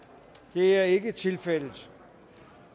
det er ikke tilfældet